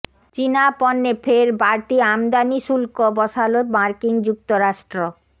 চিনা পণ্যে ফের বাড়তি আমদানি শুল্ক বসালো মার্কিন যুক্তরাষ্ট্র